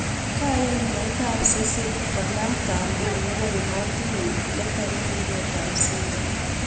kayai meet ap Cecil konam kamben nepo ematunwek netare wireet ap Simba